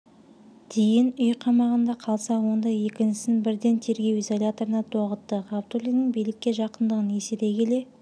дейін үй қамағында қалса онда екіншісін брден тергеу изоляторына тоғытты ғабдуллиннің билікке жақындығын есере келе